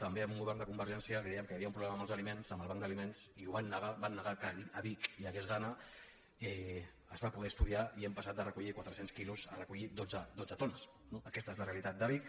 també amb un govern de convergència li dèiem que havia un problema amb els aliments amb el banc d’aliments i ho van negar van negar que a vic hi hagués gana es va poder estudiar i hem passat de recollir quatre cents quilos a recollir dotze tones no aquesta és la realitat de vic